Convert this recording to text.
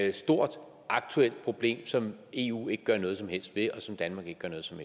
et stort aktuelt problem som eu ikke gør noget som helst ved og som danmark ikke gør noget som